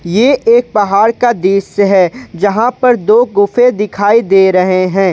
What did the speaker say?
ये एक पहाड़ का दृश्य है जहां पर दो गुफे दिखाई दे रहे है।